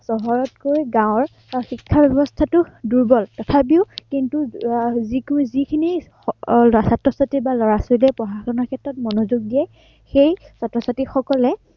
চহৰতকৈ গাঁৱত শিক্ষা ব্য়ৱস্থাটো দূৰ্বল। তথাপিও কিন্তু আহ যিটো যিখিনি ছাত্ৰ-ছাত্ৰীয়ে বা লৰা-ছোৱালীয়ে পঢ়া-শুনাৰ ক্ষেত্ৰত মনোযোগ দিয়ে, সেই ছাত্ৰ-ছাত্ৰীসকলে